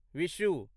Vishu